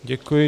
Děkuji.